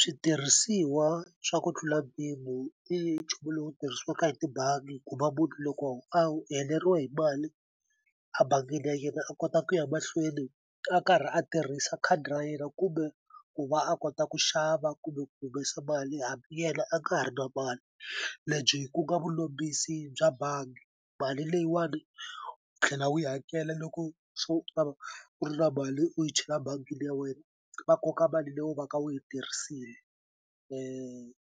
Switirhisiwa swa ku tlula mpimo i nchumu lowu tirhisiwaka hi tibangi ku va loko a wu heleriwe hi mali abangini ya yena a kota ku ya mahlweni a karhi a tirhisa khadi ra yena kumbe ku va a kota ku xava kumbe ku humesa mali hambi yena a nga ha ri na mali lebyi ku nga vulombisi bya bangi mali leyiwani u tlhela u yi hakela loko se u ta va u ri na mali u yi chela bangini ya wena va koka mali leyi u va ka wu yi tirhisini